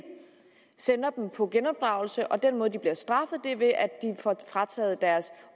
sender dem på genopdragelse og den måde de bliver straffet er ved at de får frataget deres